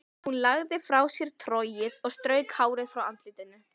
Hún lagði frá sér trogið og strauk hárið frá andlitinu.